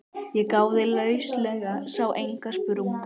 Ég gáði lauslega, sá enga sprungu.